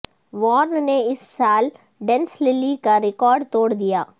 Warren نے اس سال ڈینس للی کا ریکارڈ توڑ دیا